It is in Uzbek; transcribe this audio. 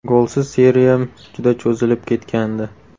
Golsiz seriyam juda cho‘zilib ketgandi.